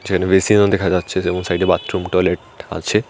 যেখানে বেসিনও দেখা যাচ্ছে যেমন সাইডে বাথরুম টয়লেট আছে।